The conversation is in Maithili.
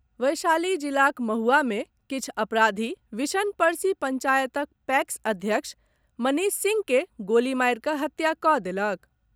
वैशाली जिलाक महुआ मे किछु अपराधी विशन परसी पंचायतक पैक्स अध्यक्ष मनीष सिंह के गोली मारि कऽ हत्या कऽ देलक।